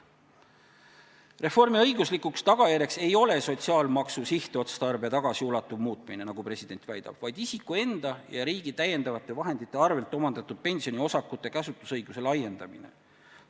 Reformi õiguslikuks tagajärjeks ei ole sotsiaalmaksu sihtotstarbe tagasiulatuv muutmine, nagu president väidab, vaid isiku enda ja riigi täiendavate vahendite arvelt omandatud pensioniosakute käsutusõiguse laiendamine.